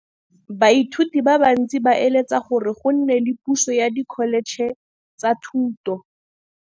Baithuti ba bantsi ba eletsa gore go nne le pusô ya Dkholetšhe tsa Thuto.